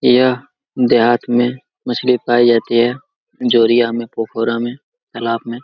यह देहात में मछली पाई जाती है जोरिया में पोखरा में तालाब में--